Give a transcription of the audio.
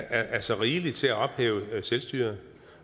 er så rigeligt til at ophæve selvstyret